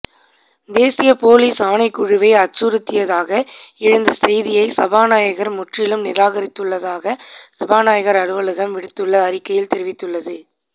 தேசிய பொலிஸ் ஆணைக்குழுவை அச்சுறுத்தியதாக எழுந்த செய்தியை சபாநாயகர் முற்றிலும் நிராகரித்துள்ளதாக சபாநாயகர் அலுவலகம் விடுத்துள்ள அறிக்கையில் தெரிவித்துள்ளது